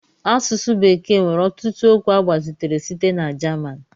Asụsụ bekee nwere ọtụtụ okwu agbazitere site na German